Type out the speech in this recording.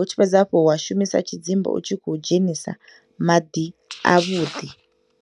U tshi fhedza hafho wa shumisa tshidzimba u tshi khou dzhenisa maḓi avhuḓi.